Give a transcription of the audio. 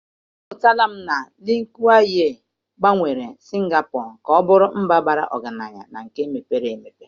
Amụtara m na Lee Kuan Yew gbanwere Singapọ ka ọ bụrụ mba bara ọgaranya na nke mepere emepe